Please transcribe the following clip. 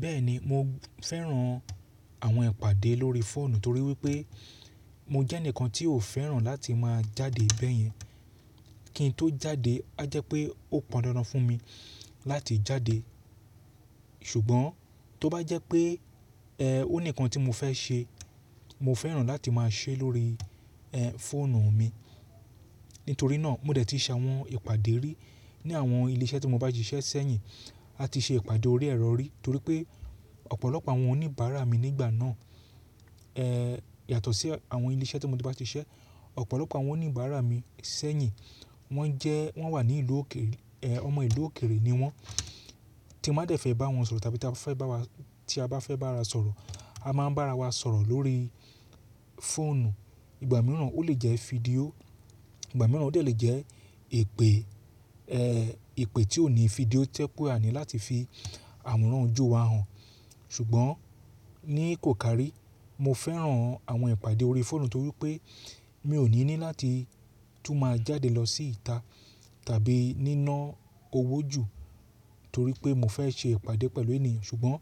Bẹ́ẹ̀ni mo fẹ́ran àwọn ìpàdé lórí fóònù torí wípé mo jẹ́ ẹnìkan tí ò fẹ́ràn láti máa jáde bẹ́yẹn, kí n tó jáde, a jẹ́ pé ó pọn dandan fún mi láti jáde. Ṣùgbọ́n tó bá jẹ́ pé ẹ ó níkan tí mo fẹ́ ṣe, mo fẹ́ràn láti máa ṣe é lórí ẹ fóònù mi. Nítorí náà mo dẹ̀ ti ṣe àwọn ìpàdé rí ní àwọn ilé iṣẹ́ tí mo bá ti ṣiṣẹ́ sẹ́yìn, a ti ṣe ìpàdé orí ẹrọ rí torí pé ọ̀pọ̀lọpọ̀ àwọn oníbàárà mi nígbà náà ẹ yàtọ̀ sí àwọn ilé iṣẹ́ tí mo ti bá ti ṣiṣẹ́. Ọ̀pọ̀lọpọ̀ àwọn oníbàárà mi sẹ́yìn wọ́n jẹ́ wọ́n wà ní ìlú òkeèrè ẹ ọmọ ìlú òkèerè ni wọ́n tí a má dẹ̀ fẹ́ bá wọn sọ̀rọ̀ tàbí tí a fẹ́ bá wa tí a bá fẹ́ bá ra sọ̀rọ̀, a má ń bá ara wa sọ̀rọ̀ lórí fóònù. Ìgbà mìíràn ó lè jẹ́ fídíò, ìgbà mìíràn ó lè jẹ́ ipè ẹ èpè tí ò ní fídíò tẹ́ póò ní láti fi àworan ojú wa hàn. Ṣùgbọ́n ní kòkárí mo fẹ́ràn àwọn ìpàdé orí fóònù torí pé mi ò ní ní láti tú máa jáde lọ sí ìta tàbí níná owó jù torí pé mo fẹ́ ṣe ìpàdé pẹ̀lú ènìyàn. Ṣùgbọ́n